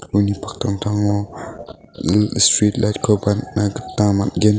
uni paktangtango im street